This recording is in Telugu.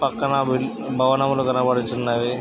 పక్కన భిల్ భవనములు కనబడుచున్నవి.